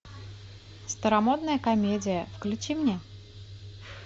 старомодная комедия включи мне